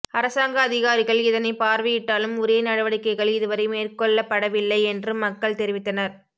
அரசாங்க அதிகாரிகள் இதனை பார்வையிட்டாலும் உரிய நடவடிக்கைகள் இதுவரை மேற்கொள்ளப்படவில்லை என்று மக்கள் தெரவித்தனர்